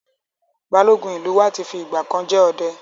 Balógun ìlú wa ti fi ìgbà kan jẹ ọdẹ.